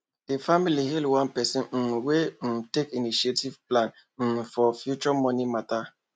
di family hail one person um wey um take initiative plan um for future money matter